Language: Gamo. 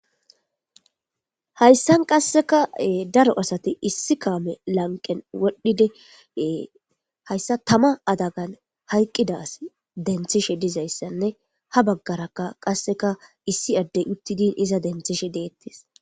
hayssan qasseka daro asati issi kaame lanqen wodhdhidee e hayssa tama adagan hayqqidas denthishe dizayssanne ha baggarakka qasseka issi addey uttidin iza denthishe deettes